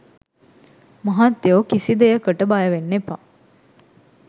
මහත්තයෝ කිසි දෙයකට බයවෙන්න එපා.